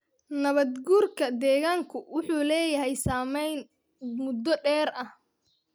Nabaad-guurka deegaanku wuxuu leeyahay saamayn muddo dheer ah.